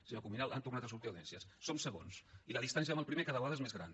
senyor cuminal han tornat a sortir audiències som segons i la distància amb el primer cada vegada és més gran